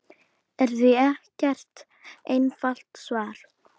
er því ekkert einfalt svar.